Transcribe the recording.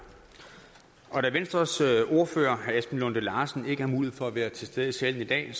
da venstres ordfører herre esben lunde larsen ikke har mulighed for at være til stede i salen i dag